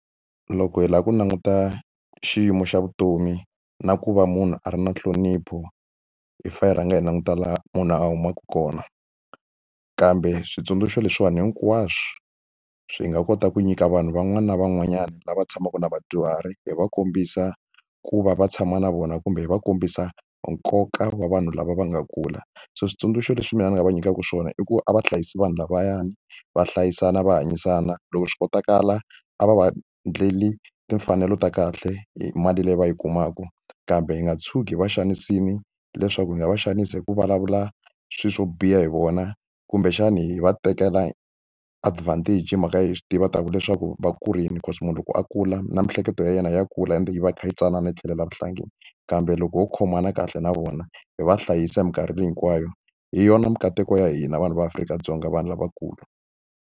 Loko hi lava ku languta xiyimo xa vutomi na ku va munhu a ri na nhlonipho hi fa hi rhanga hi languta laha munhu a humaka kona kambe switsundzuxo leswiwani hinkwaswo swi nga kota ku nyika vanhu van'wani na van'wanyana lava tshamaka na vadyuhari hi va kombisa ku va va tshama na vona kumbe hi va kombisa nkoka wa vanhu lava va nga kula so switsundzuxo leswi mina ni nga va nyikaka swona i ku a va hlayisi vanhu lavayani va hlayisana va hanyisana loko swi kotakala a va va endleli timfanelo ta kahle hi mali leyi va yi kumaka kambe hi nga tshuki va xanisekile leswaku hi nga va xanisa hi ku vulavula swilo swo biha hi vona kumbexana hi va tekela advantage hi mhaka hi swi tiva ta ku leswaku va kurile cause munhu loko a kula na miehleketo ya yena ya kula ende yi va yi kha yi tsanana yi tlhelela vuhlangi kambe loko ho khomana kahle na vona hi va hlayisa hi mikarhi leyi hinkwayo hi yona mikateko ya hina vanhu va Afrika-Dzonga vanhu lavakulu.